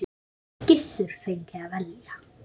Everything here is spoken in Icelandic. Gissur fengi að velja.